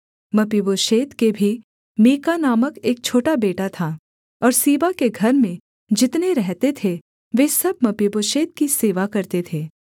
मपीबोशेत के भी मीका नामक एक छोटा बेटा था और सीबा के घर में जितने रहते थे वे सब मपीबोशेत की सेवा करते थे